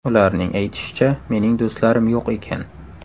Ularning aytishicha, mening do‘stlarim yo‘q ekan.